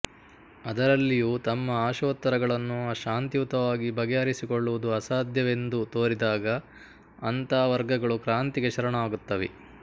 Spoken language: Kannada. ಅದರಲ್ಲಿಯೂ ತಮ್ಮ ಅಶೋತ್ತರಗಳನ್ನು ಶಾಂತಿಯುತವಾಗಿ ಬಗೆಹರಿಸಿಕೊಳ್ಳುವುದು ಅಸಾಧ್ಯವೆಂದು ತೋರಿದಾಗ ಅಂಥ ವರ್ಗಗಳು ಕ್ರಾಂತಿಗೆ ಶರಣಾಗುತ್ತವೆ